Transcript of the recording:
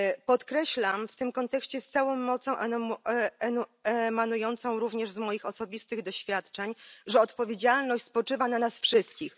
Podkreślam w tym kontekście z całą mocą, emanującą również z moich osobistych doświadczeń, że odpowiedzialność spoczywa na nas wszystkich.